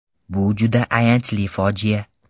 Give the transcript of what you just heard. Bu juda ayanchli fojia.